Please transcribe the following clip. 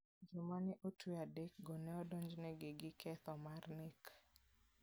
Joma ne otwe adekgo ne odonjnegi gi ketho mar nek.